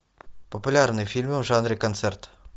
популярные фильмы в жанре концерт